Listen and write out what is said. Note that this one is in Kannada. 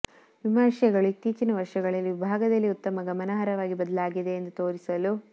ವಿಮರ್ಶೆಗಳು ಇತ್ತೀಚಿನ ವರ್ಷಗಳಲ್ಲಿ ವಿಭಾಗದಲ್ಲಿ ಉತ್ತಮ ಗಮನಾರ್ಹವಾಗಿ ಬದಲಾಗಿದೆ ಎಂದು ತೋರಿಸಲು